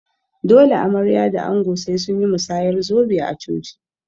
Dole amarya da ango sai sunyi masayar zobe a coci